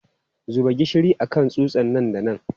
Zuba gishiri a kan tsutsa nan da nan!